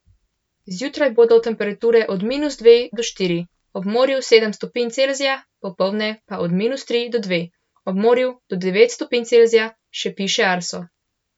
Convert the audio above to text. Zjutraj bodo temperature od minus dve do štiri, ob morju sedem stopinj Celzija, popoldne pa od minus tri do dve, ob morju do devet stopinj Celzija, še piše Arso.